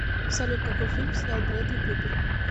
салют какой фильм снял брэдли купер